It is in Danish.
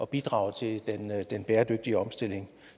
bidrage til den bæredygtige omstilling